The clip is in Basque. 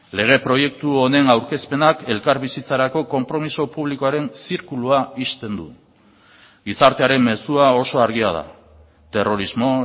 lege proiektu honen aurkezpenak elkarbizitzarako konpromiso publikoaren zirkulua ixten du gizartearen mezua oso argia da terrorismo